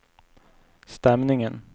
stämningen